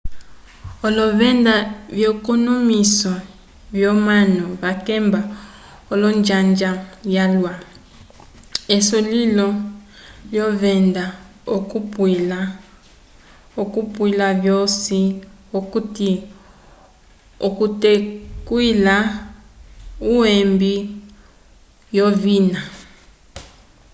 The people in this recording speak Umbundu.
olovenda vyekonomwiso vyomanu vakemba olonjanja vyalwa esulilo lyolovenda okuapwila vosi okuti okuteywila uhembi wovina